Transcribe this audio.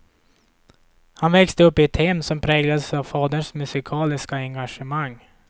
Han växte upp i ett hem som präglades av faderns musikaliska engagemang.